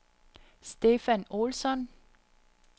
Stefan Olsson